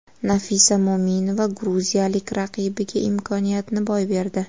Nafisa Mo‘minova gruziyalik raqibiga imkoniyatni boy berdi.